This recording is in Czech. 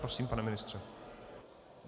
Prosím, pane ministře.